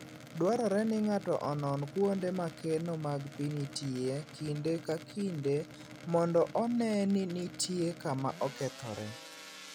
Dwarore ni ng'ato onon kuonde ma keno mag pi nitie kinde ka kinde mondo one ni nitie kama okethore.